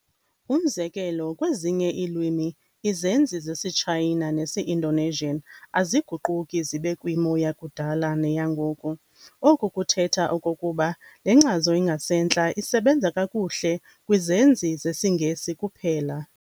Umzekelo, kwezinye iilwimi izenzi zesiTshayina nesi-Indonesian, aziguquki zibe kwimo yakudala neyangoku. Oku kuthetha okokuba le nkcazo ingasentla isebenza kakuhle kwizenzi zesiNgesi kuphela.